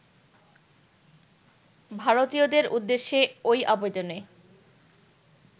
ভারতীয়দের উদ্দেশ্যে ওই আবেদনে